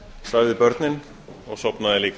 svæfði börnin og sofnaði líka